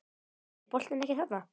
Er boltinn ekki þarna?